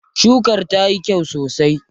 Shukar tayi kyau sosai.